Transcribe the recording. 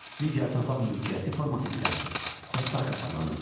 Digər torpaq mülkiyyəti forması isə xostak adlanırdı.